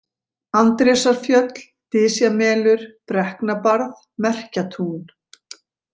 Andrésarfjöll, Dysjamelur, Brekknabarð, Merkjatún